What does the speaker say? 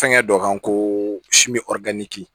Fɛnkɛ dɔ kan ko